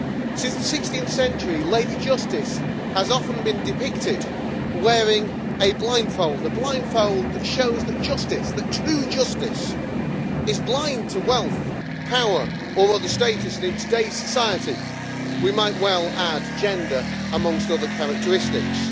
Since the 16th century, Lady Justice has often been depicted wearing a blindfold, that shows that justice, true justice, is blind to wealth, power or other status, and in today's society we might well add gender, amongst other characteristics.